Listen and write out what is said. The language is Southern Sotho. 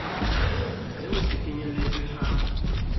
le ho se kenyeletswe ha